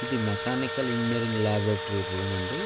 ఇది mechanical engineering laboratory room అండి --